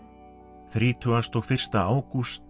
þrítugasta og fyrsta ágúst